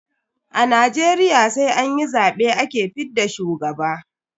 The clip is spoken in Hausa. A Najeriya sai an yi zabe ake fidda shugaba.